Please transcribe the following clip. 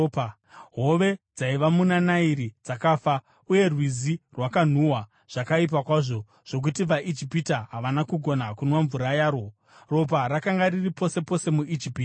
Hove dzaiva muna Nairi dzakafa, uye rwizi rwakanhuhwa zvakaipa kwazvo zvokuti vaIjipita havana kugona kunwa mvura yarwo. Ropa rakanga riri pose pose muIjipiti.